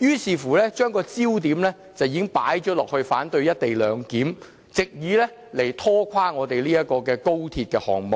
以把焦點放在反對"一地兩檢"，藉以拖垮高鐵項目。